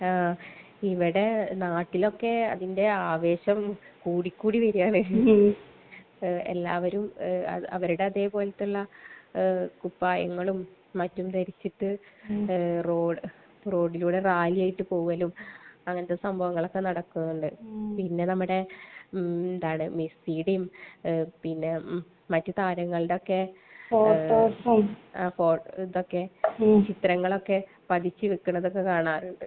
ആ. ഇവിടെ നാട്ടിലൊക്കെ അതിന്റെ ആവേശം കൂടിക്കൂടി വരുകയാണ്. . എല്ലാവരും അവരുടെ അതേപോലത്തുള്ള കുപ്പായങ്ങളും മറ്റും ധരിച്ചിട്ട് റോഡിലൂടെ റാലിയായിട്ട് പോവലും അങ്ങനത്തെ സംഭവങ്ങളൊക്കെ നടക്കുന്നുണ്ട്. പിന്നെ നമ്മടെ മെസ്സിയുടെയും പിന്നെ മറ്റ് താരങ്ങളുടെയും ഒക്കെ...ആ. ഫോട്ടോസും. അതൊക്കെ. ചിത്രങ്ങളൊക്കെ പതിച്ച് വക്കണതൊക്കെ കാണാറുണ്ട്.